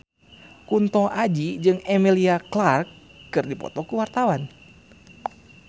Kunto Aji jeung Emilia Clarke keur dipoto ku wartawan